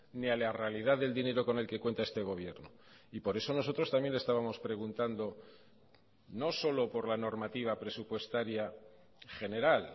ni a la realidad del dinero con el que cuenta este gobierno y por eso nosotros también estábamos preguntando no solo por la normativa presupuestaria general